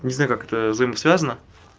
не знаю как это взаимосвязано